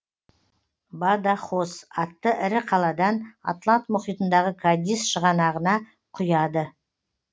бадахос атты ірі қаладан атлант мұхитындағы кадис шығанағына құяды